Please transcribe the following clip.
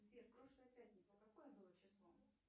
сбер прошлая пятница какое было число